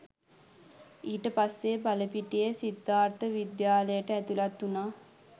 ඊට පස්සේ බලපිටියේ සිද්ධාර්ථ විද්‍යාලයට ඇතුළත් වුණා